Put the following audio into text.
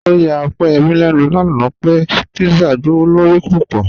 Ọ̀yà Ọ̀pẹ́yẹ́mí lẹ́nu lánà pẹ̀ pízzà gbọwọ̀lọ̀rí púpọ̀.